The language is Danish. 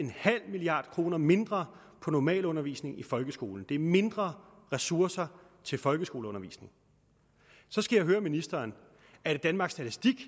milliard kroner mindre på normalundervisning i folkeskolen det er mindre ressourcer til folkeskoleundervisning så skal jeg høre ministeren er det danmarks statistik